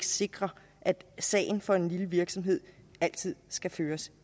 sikre at sagen for en lille virksomhed altid skal føres